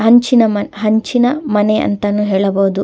ಹಂಚಿನ ಮನ ಹಂಚಿನ ಮನೆ ಅಂತಾನು ಹೇಳಬಹುದು.